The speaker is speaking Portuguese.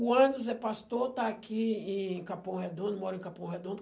O Anderson é pastor, está aqui em Capão Redondo, mora em Capão Redondo.